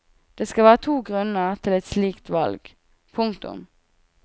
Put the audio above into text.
Det skal være to grunner til et slikt valg. punktum